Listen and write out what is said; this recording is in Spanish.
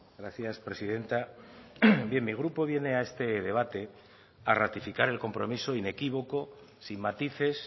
gracias presidenta bien mi grupo viene a este debate a ratificar el compromiso inequívoco sin matices